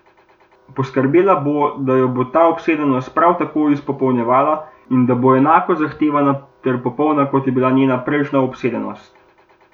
Poskrbela bo, da jo bo ta obsedenost prav tako izpopolnjevala in da bo enako zahtevna ter popolna, kot je bila njena prejšnja obsedenost.